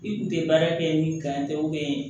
I kun tɛ baara kɛ ni kan tɛ